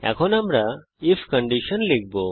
এখন আমরা if condition লিখব